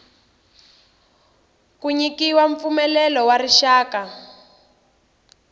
ku nyikiwa mpfumelelo wa rixaka